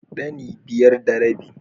Ɗani biyar da rabi.